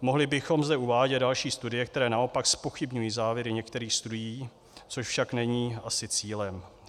Mohli bychom zde uvádět další studie, které naopak zpochybňují závěry některých studií, což však není asi cílem.